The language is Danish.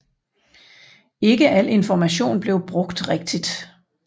Ikke al information blev brugt rigtigt